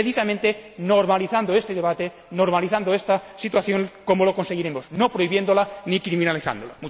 Es precisamente normalizando este debate, normalizando esta situación, como lo conseguiremos, no prohibiéndola ni criminalizándola.